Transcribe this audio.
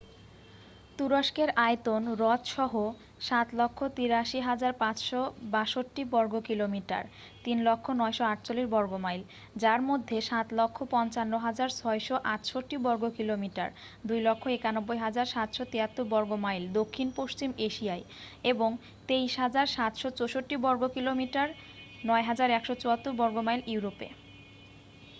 তুরস্কের আয়তন হ্রদ সহ ৭৮৩,৫৬২ বর্গকিলোমিটার ৩০০,৯৪৮ বর্গ মাইল যার মধ্যে ৭৫৫,৬৮৮ বর্গকিলোমিটার ২৯১,৭৭৩ বর্গ মাইল দক্ষিণ পশ্চিম এশিয়ায় এবং ২৩,৭৬৪ বর্গকিলোমিটার ৯,১৭৪ বর্গ মাইল ইউরোপে।